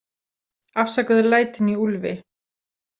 Afsakaðu lætin í Úlfi